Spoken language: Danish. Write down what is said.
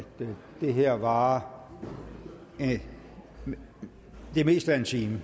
det her varer det meste af en time